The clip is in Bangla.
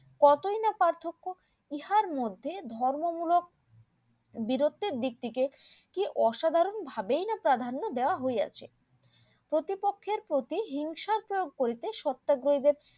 কতই না পার্থক্য ইহার মধ্যে ধর্ম মূলক বিরতির দিক থেকে কি অসাধারণ ভাবেই না প্রাধান্য দেয়া হইয়াছে প্রতিপক্ষের প্রতি হিংসার প্রয়োগ করিতে সত্যাগ্রহ